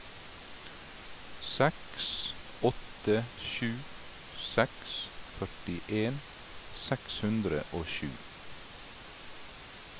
seks åtte sju seks førtien seks hundre og sju